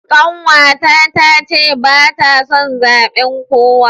Kanwata tace bata son zaben kowa.